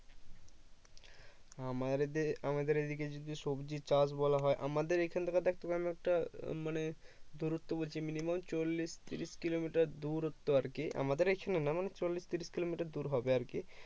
আমাদের আমাদের এই দিকে যদি সবজি চাষ বলা হয় আমাদের এখন থেকে দেখ তোকে একটা মানে দূরত্ব বলছি minimum চল্লিশ ত্রিশ কিলোমিটার দূরত্ব আরকি আমাদের এখানে না মানে চল্লিশ ত্রিশ কিলোমিটার দূর হবে আর কি